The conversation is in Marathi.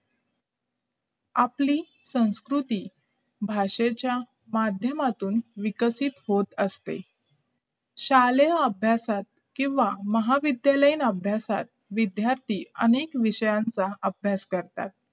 आपली संस्कृती भाषेच्या माध्यमातून विकसित होत असते शल्या अभ्यासात किंवा महाविद्यालय अभ्यासात विध्यार्थी अनेक विषयांचा अभ्यास करतात